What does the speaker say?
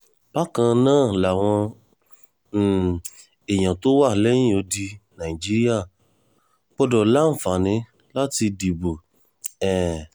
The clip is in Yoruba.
bákan náà làwọn um èèyàn tó wà lẹ́yìn odi nàìjíríà gbọ́dọ̀ láǹfààní láti dìbò um